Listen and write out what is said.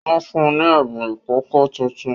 Wọ́n fún ni ẹ̀bùn ìkòkò tuntun